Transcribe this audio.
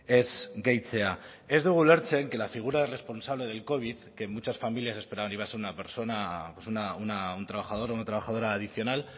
ez gehitzea ez dugu ulertzen que la figura responsable del covid que en muchas familias persona pues un trabajador o trabajadora adicional